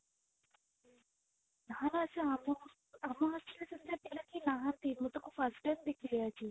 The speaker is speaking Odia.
ନା ସେ ଆମ hostel ରେ ଆମ hostel ରେ ସେମିତିକା ପିଲା କିଏ ନାହାନ୍ତି ମୁଁ ତାକୁ first time ଦେଖିଲି ଆଜି